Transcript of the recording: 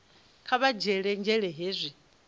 kha vha dzhiele nzhele hezwi